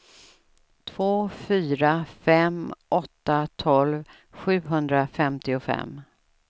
två fyra fem åtta tolv sjuhundrafemtiofem